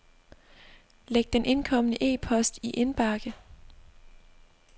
Læg den indkomne e-post i indbakken.